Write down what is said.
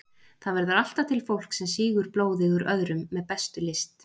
Það verður alltaf til fólk sem sýgur blóðið úr öðrum með bestu lyst.